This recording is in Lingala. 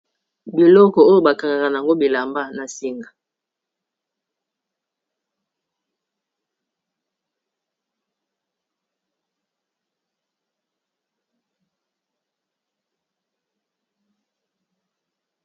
Biloko oyo bakangaka yango bilamba na singa